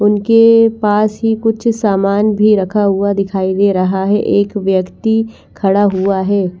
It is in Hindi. उनके पास ही कुछ सामान भी रखा हुआ दिखाई दे रहा है एक व्यक्ति खड़ा हुआ है।